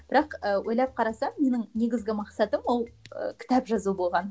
бірақ ы ойлап қарасам менің негізгі мақсатым ол ы кітап жазу болған